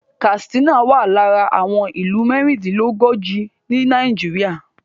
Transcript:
Katsina wà lára àwọn ìlú mẹ́rìndínlógójì ni Nàìjíríà